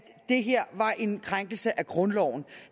det her var en krænkelse af grundloven